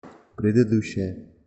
предыдущая